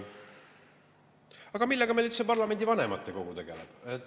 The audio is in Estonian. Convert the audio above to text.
Aga millega meil üldse parlamendi vanematekogu tegeleb?